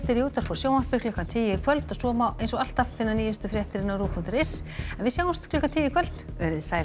í útvarpi og sjónvarpi klukkan tíu í kvöld og svo má eins og alltaf finna nýjustu fréttir á rúv punktur is en við sjáumst klukkan tíu í kvöld veriði sæl